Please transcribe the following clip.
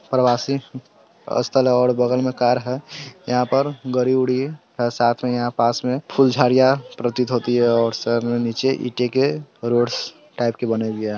परवासी स्थल है और बगल में कार है यहाँ पर गाड़ी-उड़ी साथ में यहां पास में फुल झाडियां प्रतीत होती है और साइड में नीचे ईटे के रोड्स टाइप के बने हुए है।